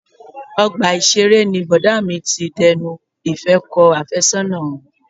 Ọgbà ìṣeré ni Bọ̀dá mi ti dẹnu ìfẹ́ kọ àfẹ́sọ́nà wọn.